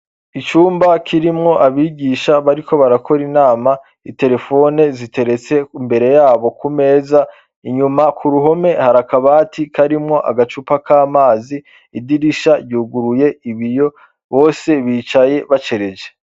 Icumba kirimwo abigisha bariko barakora inama iterefone ziteretse imbere yabo ku meza inyuma ku ruhome hari akabati karimwo agacupa k'amazi idirisha ryuguruye ibiyo bose bicaye bacereje.